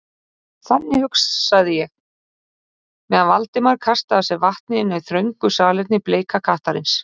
Þannig hugsaði ég, meðan Valdimar kastaði af sér vatni inni á þröngu salerni Bleika kattarins.